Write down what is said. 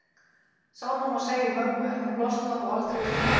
Sama má segja um mömmu en hún losnaði þó aldrei við heimþrána.